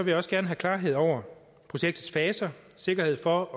jeg også gerne have klarhed over projektets faser sikkerhed for